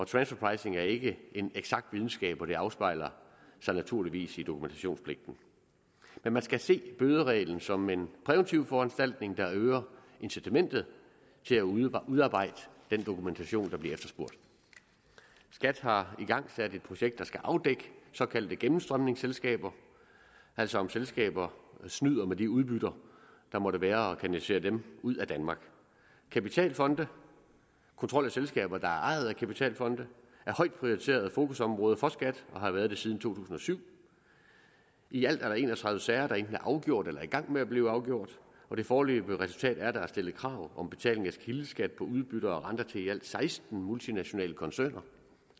transfer pricing er ikke en eksakt videnskab og det afspejler sig naturligvis i dokumentationspligten men man skal se bødereglen som en præventiv foranstaltning der øger incitamentet til at udarbejde den dokumentation der bliver efterspurgt skat har igangsat et projekt der skal afdække såkaldte gennemstrømningsselskaber altså om selskaber snyder med de udbytter der måtte være og kanaliserer dem ud af danmark kapitalfonde kontrol af selskaber der er ejet af kapitalfonde er højt prioriteret fokusområde for skat og har været det siden to tusind og syv i alt er der en og tredive sager der enten er afgjort eller i gang med at blive afgjort og det foreløbige resultat er at der er stillet krav om betaling af kildeskat på udbytter og renter til i alt seksten multinationale koncerner